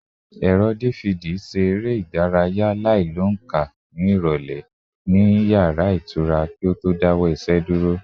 Ẹ̀rọ DVD ṣe eré ìdárayá àìlóǹkà ìrọ̀lẹ́ ní yàrá ìtura kí ó tó dáwọ́ iṣẹ́ dúró